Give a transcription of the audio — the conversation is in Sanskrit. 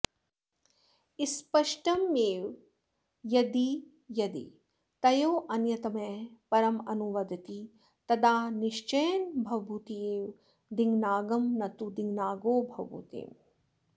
स्पष्ट मेव यद्यदि तयोरन्यतमः परमनुवदति तदा निश्चयेन भवभूतिरेव दिङ्नागं न तु दिङ्नागो भवभूतिम्